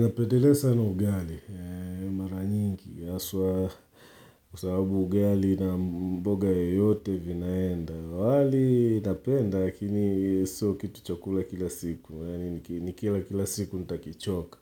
Napendelea sana ugali maranyingi aswa kwa sababu ugali na mboga yeyote vinaenda wali napenda lakini sio kitu cha kula kila siku, ni kila kila siku ntakichoka,